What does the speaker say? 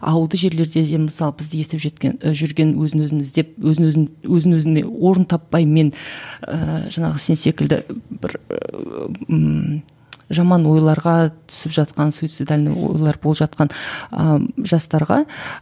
ауылды жерлерде де мысалы бізді естіп жеткен і жүрген өзін өзін іздеп өзін өзін өзін өзіне орын таппай мен ііі жаңағы сен секілді бір жаман ойларға түсіп жатқан суицидальный ойлар болып жатқан ыыы жастарға